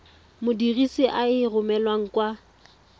modirisi a e romelang kwa